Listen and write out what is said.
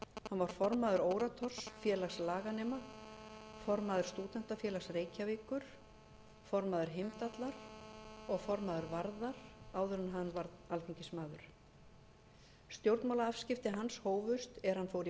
var formaður orators félags laganema formaður stúdentafélags reykjavíkur formaður heimdallar og formaður varðar áður en hann varð alþingismaður stjórnmálaafskipti hans hófust er hann fór í